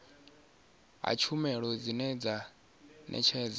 ha tshumelo dzine dza ṋetshedzwa